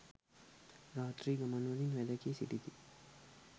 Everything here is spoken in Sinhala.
රාත්‍රී ගමන්වලින් වැළකී සිටිති.